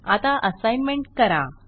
आता असाईनमेंट करा